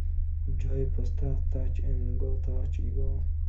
джой поставь тач энд гоу тач и гоу